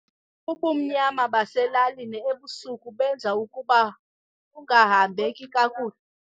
Ubumnyama baselalini ebusuku benza ukuba kungahambeki kakuhle.